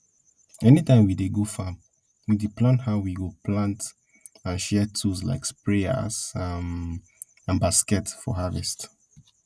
anytime we dey go farm we dey plan how we go plant and share tools like sprayers um and baskets for harvest